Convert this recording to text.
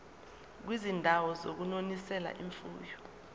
kwizindawo zokunonisela imfuyo